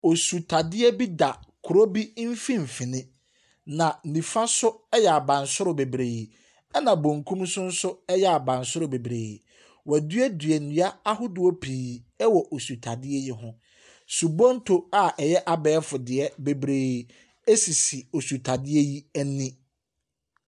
Ɔsutadeɛ bi da kuro bi mfinfin na nifaso yɛ abansoro bebree ɛna benkum nsoso yɛ abansoro bebree. W'aduadua nnua ahodoɔpii ɛwɔ osu tadeɛ yi ho. Subonto a ɛyɛ abɛɛfodeɛ bebree sisi osutadeɛ no ani.